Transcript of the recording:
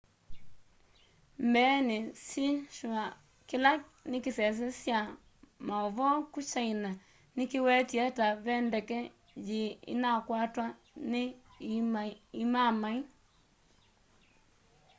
mbeeni xinhua kila nikisese kya mauvoo ku china nikiwetie ta ve ndeke yii inakwata ni imaamai